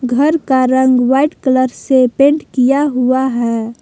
घर का रंग व्हाइट कलर से पेंट किया हुआ है।